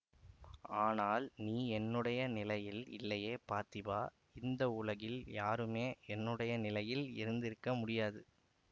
ஆனால் நீ என்னுடைய நிலையில் இல்லையே பார்த்திபா இந்த உலகில் யாருமே என்னுடைய நிலையில் இருந்திருக்க முடியாது